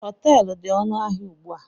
Họteelu dị ọnụ ahịa ugbu a